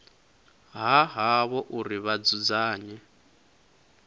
ha havho uri vha dzudzanye